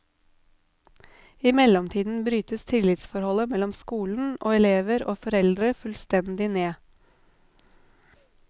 I mellomtiden brytes tillitsforholdet mellom skolen og elever og foreldre fullstendig ned.